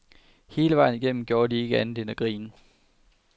Hele vejen igennem gjorde de ikke andet end at grine.